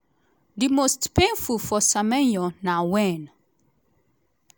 di most painful for semenyo na wen